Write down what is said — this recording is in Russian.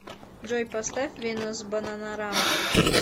джой поставь венус бананарама